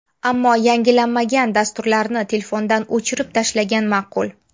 Ammo yangilanmagan dasturlarni telefondan o‘chirib tashlagan ma’qul.